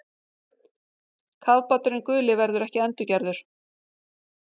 Kafbáturinn guli verður ekki endurgerður